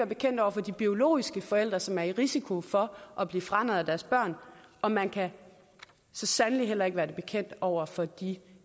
bekendt over for de biologiske forældre som er i risiko for at blive franarret deres børn og man kan så sandelig heller ikke være det bekendt over for de